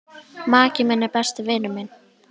Maki minn er besti vinur minn.